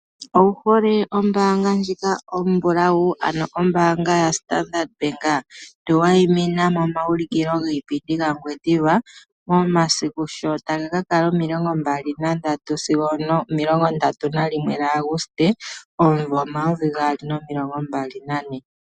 Owu hole ombaanga ndjika ombulawu, ano ombaanga ya Standard Bank tuwayimina momaaulikilo giipindi gaNgwediva momasiku sho taga ka kala 23 sigo 31 gaAguste 2024.